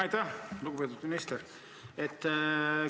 Aitäh, lugupeetud minister!